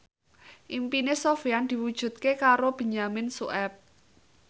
impine Sofyan diwujudke karo Benyamin Sueb